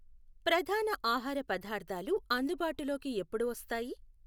ప్రధాన ఆహార పదార్థాలు అందుబాటులోకి ఎప్పుడు వస్తాయి?